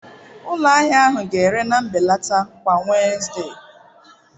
Ụlọ ahịa ahụ ga-ere na mbelata kwa Wednesde.